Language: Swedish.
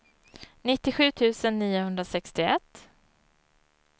nittiosju tusen niohundrasextioett